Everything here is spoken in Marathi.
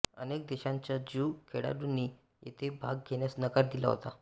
अनेक देशांच्या ज्यू खेळाडूंनी येथे भाग घेण्यास नकार दिला होता